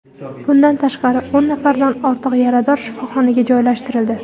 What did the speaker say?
Bundan tashqari, o‘n nafardan ortiq yarador shifoxonaga joylashtirildi.